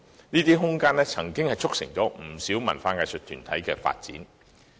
這些工廈的空間，卻促成了不少文化藝術團體的發展。